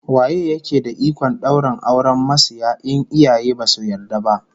Waye yake da ikon daura auren masiya in iyaye basu yarda ba?